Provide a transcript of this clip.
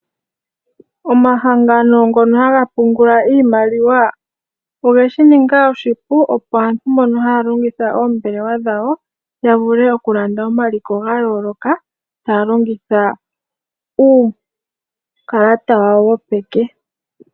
Omahangano ngono haga pungula iimaliwa oge shi ninga oshipu opo aantu mbono haya longitha oombelewa dhawo ya vule okulanda omaliko ga yooloka, taya longitha uukalata wawo wopeke.